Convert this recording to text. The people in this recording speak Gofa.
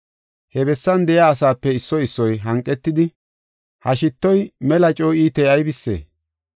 He bessan de7iya asape issoy issoy hanqetidi, “Ha shittoy mela coo iitey aybisee?